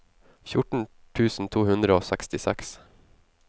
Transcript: fjorten tusen to hundre og sekstiseks